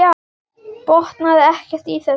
Botnaði ekkert í þessu.